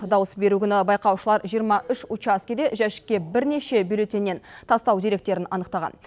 дауыс беру күні байқаушылар жиырма үш учаскеде жәшікке бірнеше бюллетеннен тастау деректерін анықтаған